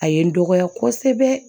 A ye n dɔgɔya kosɛbɛ